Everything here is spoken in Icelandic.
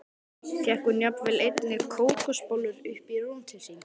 Fékk hún jafnvel einnig kókosbollur upp í rúm til sín.